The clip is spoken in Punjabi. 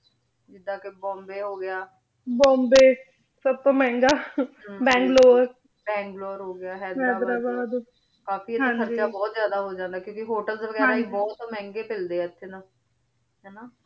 ਜਿਦਾਂ ਕੇ ਬੋਮ੍ਬੇ ਹੋ ਗਯਾ ਬੋਮ੍ਬੇ ਸਬ ਤੋਂ ਮੇਹ੍ਨ੍ਗਾ ਬੰਗ੍ਲੋਰੇ ਬੰਗ੍ਲੋਰੇ ਹੋ ਗਯਾ ਹਯ੍ਦੇਰਾਬਾਦ ਕਾਫੀ ਏਥੇ ਖਰਚਾ ਬੋਹਤ ਜਿਆਦਾ ਹੋ ਜਾਂਦਾ ਕ੍ਯੂ ਕੇ ਹੋਤੇਲ੍ਸ ਵੇਗਿਰਾ ਵੀ ਬੋਹਤ ਮਹਂਗੇ ਮਿਲਦੇ ਆ ਏਥੇ ਨਾ ਹਾਨਾ